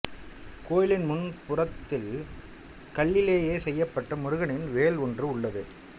கோயிலின் முன் புறத்தில் கல்லிலேயே செய்யப்பட்ட முருகனின் வேல் ஒன்று உள்ளது